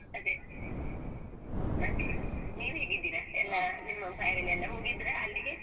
ಅದೇ ಮತ್ತೆ ನೀವು ಹೇಗಿದ್ದೀರಾ ಎಲ್ಲ ನಿಮ್ಮ family ಎಲ್ಲ ಹೋಗಿದ್ರಾ ಅಲ್ಲಿಗೆ?